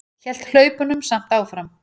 Hélt hlaupunum samt áfram.